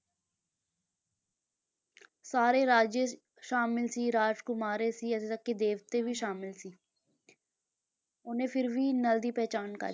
ਸਾਰੇ ਰਾਜੇ ਸਾਮਿਲ ਸੀ, ਰਾਜਕੁਮਾਰੇ ਸੀ ਇੱਥੇ ਤੱਕ ਕਿ ਦੇਵਤੇ ਵੀ ਸਾਮਿਲ ਸੀ ਉਹਨੇ ਫਿਰ ਵੀ ਨਲ ਦੀ ਪਹਿਚਾਣ ਕਰ